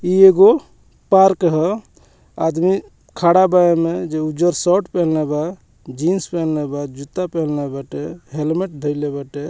इ एगो पार्क ह आदमी खड़ा बा एमें जे उजर शर्ट पहले बा जीन्स पहंले बा जूता पहले बाटे हेलमेट धइले बाटे।